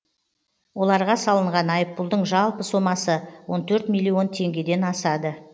оларға салынған айыппұлдың жалпы сомасы он төрт миллион теңгеден асады